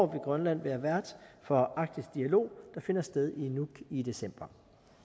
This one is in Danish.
grønland være vært for arktisk dialog der finder sted i nuuk i december